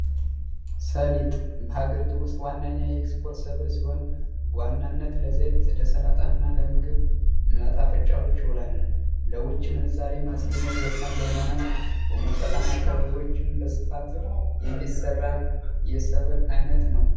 ሰሊጥ በሀገሪቱ ውስጥ ዋነኛ ኤክስፖርት ሰብል ሲሆን፤ በዋናነት ለዘይት፣ ለሠላጣ እና ለምግብ መጣፈጫዎች ይውላል። ለውጭ ምንዛሬ ማስገኘት ወሳኝ በመሆኑ ፤ ሞቃታማ አካባቢዎችም በስፋት የሚዘራ የሰብል አይነት ነው ።